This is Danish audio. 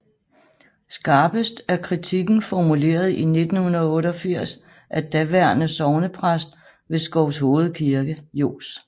Skarpest er kritikken formuleret i 1988 af daværende sognepræst ved Skovshoved Kirke Johs